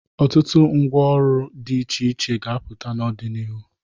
ọtụtụ ngwa ọrụrụ dị iche iche ga-apụta n'ọdịnihu.